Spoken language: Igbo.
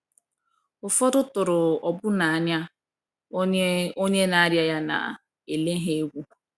Ụfọdụ tụrụ ọbụna anya onye onye na - arịa ya na - ele ha egwu!